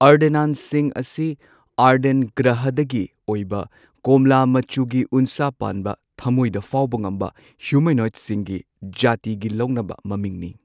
ꯑꯥꯔꯗꯦꯅꯥꯟꯁꯤꯡ ꯑꯁꯤ ꯑꯔꯗꯦꯟ ꯒ꯭ꯔꯍꯗꯒꯤ ꯑꯣꯏꯕ ꯀꯣꯝꯂꯥ ꯃꯆꯨꯒꯤ ꯎꯟꯁꯥ ꯄꯥꯟꯕ ꯊꯃꯣꯏꯗ ꯐꯥꯎꯕ ꯉꯝꯕ ꯍ꯭ꯌꯨꯃꯦꯅꯣꯏꯗꯁꯤꯡꯒꯤ ꯖꯥꯇꯤꯒꯤ ꯂꯧꯅꯕ ꯃꯃꯤꯡꯅꯤ꯫